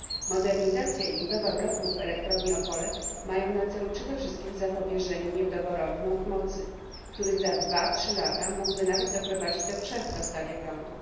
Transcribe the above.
Modernizacja i budowa bloków w Elektrowni Opole mają na cele przede wszystkim zapobieżenie niedoborowi mocy, który za dwa trzy lata mógłby nawet doprowadzić do przerw w dostawie prądu.